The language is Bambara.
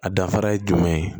A danfara ye jumɛn ye